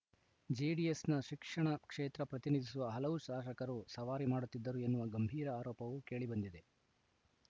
ಜೆಡಿಎಸ್‌ನ ಶಿಕ್ಷಣ ಕ್ಷೇತ್ರ ಪ್ರತಿನಿಧಿಸುವ ಹಲವು ಶಾಸಕರು ಸವಾರಿ ಮಾಡುತ್ತಿದ್ದರು ಎನ್ನುವ ಗಂಭೀರ ಆರೋಪವೂ ಕೇಳಿಬಂದಿದೆ